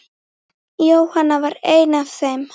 Jóhanna var ein af þeim.